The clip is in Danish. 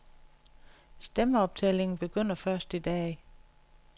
Stemmeoptællingen begynder først i dag.